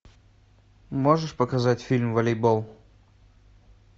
можешь показать фильм волейбол